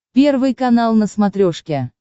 первый канал на смотрешке